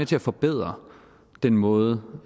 til at forbedre den måde